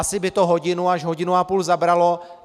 Asi by to hodinu až hodinu a půl zabralo.